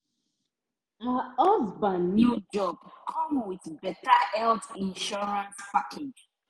her husband new job come with better health insurance package.